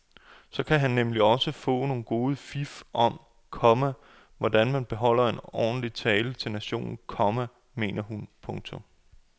Så kan han nemlig få nogle gode fif om, komma hvordan man holder en ordentlig tale til nationen, komma mener hun. punktum